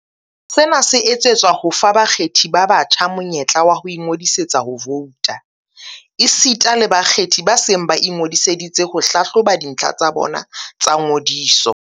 Sena se etsetswa ho fa ba kgethi ba batjha monyetla wa ho ingodisetsa ho vouta, esita le bakgethi ba seng ba ingo disitse ho hlahloba dintlha tsa bona tsa ngodiso.